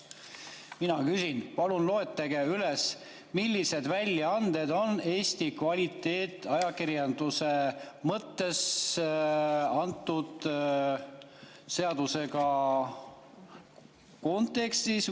Mina küsin: palun loetlege üles, millised väljaanded Eesti kvaliteetajakirjanduse hulka selle seaduseelnõu kontekstis.